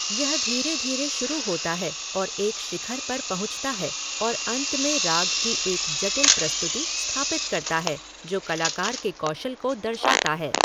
यह धीरे धीरे शुरू होता है और एक शिखर पर पहुँचता है और अंत में राग की एक जटिल प्रस्तुति स्थापित करता है जो कलाकार के कौशल को दर्शाता है।